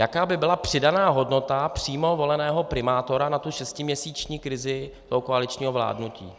Jaká by byla přidaná hodnota přímo voleného primátora na tu šestiměsíční krizi toho koaličního vládnutí?.